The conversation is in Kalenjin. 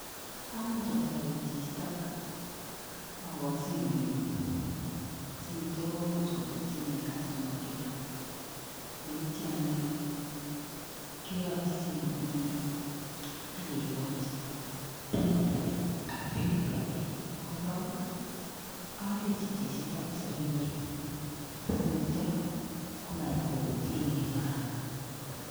Amuch atoret chichitok agoch simoit nyu sinitcho komuch kobirchi ine customer care neityo anyun keyatchi simoitnyi akegoch pinit age ak pukit ake korok alechi chichitokkoser ng'wuny asinetyo komait koutye ine kora